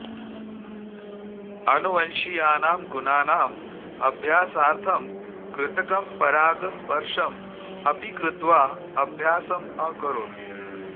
आनुवंशीयानां गुणानाम् अभ्यासार्थं कृतकं परागस्पर्शम् अपि कृत्वा अभ्यासम् अकरोत्